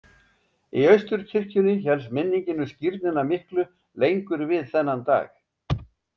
Í Austurkirkjunni hélst minningin um skírnina miklu lengur við þennan dag.